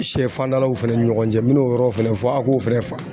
Sɛfandalaw fana ni ɲɔgɔn cɛ n mɛ n'o yɔrɔ fɛnɛ fɔ a k'o fɛnɛ faamu.